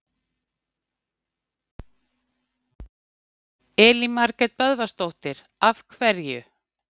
Elín Margrét Böðvarsdóttir: Af hverju?